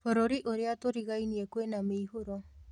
Bũrũri ũrĩa tũrigainie kwĩna mĩihũro